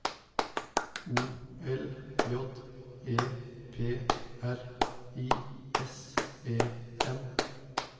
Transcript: O L J E P R I S E N